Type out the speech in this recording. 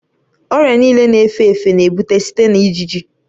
Ọrịa niile na-efe efe na-ebute site na ijiji